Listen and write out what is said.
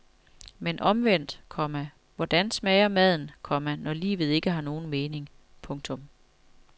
Men omvendt, komma hvordan smager maden, komma når livet ikke har nogen mening. punktum